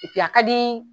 a ka di